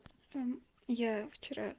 эм я вчера